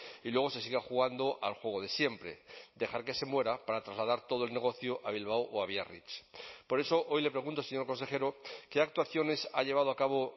y luego se siga jugando al juego de siempre dejar que se muera para trasladar todo el negocio a bilbao o a biarritz por eso hoy le pregunto señor consejero qué actuaciones ha llevado a cabo